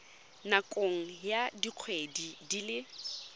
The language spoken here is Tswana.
nakong ya dikgwedi di le